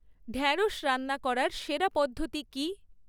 ঢ্যাঁড়স রান্না করার সেরা পদ্ধতি কী?